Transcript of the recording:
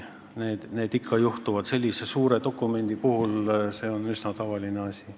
Need ikka juhtuvad sellise suure dokumendi puhul – see on üsna tavaline asi.